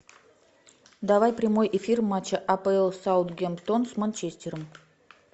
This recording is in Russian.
давай прямой эфир матча апл саутгемптон с манчестером